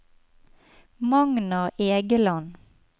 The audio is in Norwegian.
Magnar Egeland